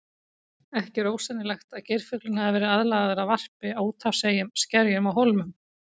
Ekki er ósennilegt að geirfuglinn hafi verið aðlagaður að varpi á úthafseyjum, skerjum og hólmum.